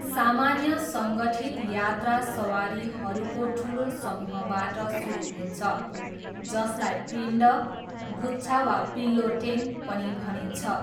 सामान्य सङ्गठित यात्रा सवारीहरूको ठुलो समूहबाट सुरु हुन्छ, जसलाई पिण्ड, गुच्छा वा पिल्लोटेन पनि भनिन्छ।